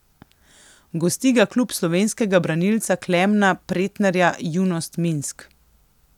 Gosti ga klub slovenskega branilca Klemna Pretnarja Junost Minsk.